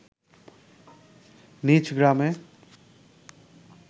নিজ গ্রামে